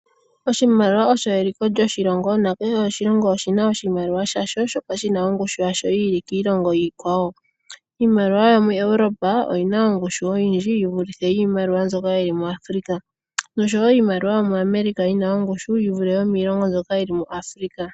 Oshimaliwa osho eliko lyoshilongo ,kehe oshilongo oshina iimaliwa yasho mbyoka yina ongushu ya yooloka kiilongo yilwe .iimaliwa yomiilongo yaEuropa oyina ongushi oyindji yivule yo miilongo mbyoka yili mu Africa